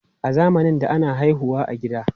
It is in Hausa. A zamanin da, ana haihu wa a gida.